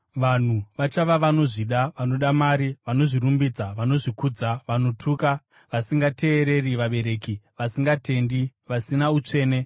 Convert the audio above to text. Vanhu vachava vanozvida, vanoda mari, vanozvirumbidza, vanozvikudza, vanotuka, vasingateereri vabereki, vasingatendi, vasina utsvene,